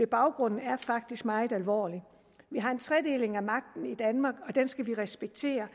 baggrunden er faktisk meget alvorlig vi har en tredeling af magten i danmark og den skal vi respektere